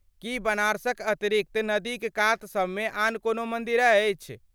की बनारसक अतिरिक्त नदीक कात सभमे आन कोनो मन्दिर अछि?